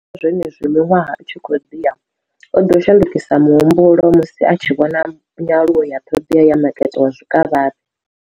Fhedziha, zwenezwi miṅwaha i tshi khou ḓi ya, o ḓo shandukisa muhumbulo musi a tshi vhona nyaluwo ya ṱhoḓea ya makete wa zwikavhavhe.